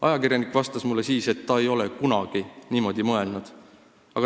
Ajakirjanik vastas mulle siis, et ta ei ole kunagi niimoodi mõelnud.